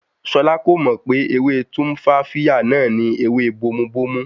Ṣọlá kò mọ̀ pé ewé Tumfafiya náà ni ewé bomubómú